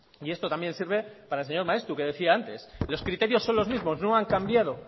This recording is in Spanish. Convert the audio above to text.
y esto también sirve para el señor maeztu que decía antes que los criterios son los mismos no han cambiado